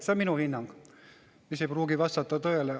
See on minu hinnang, mis ei pruugi vastata tõele.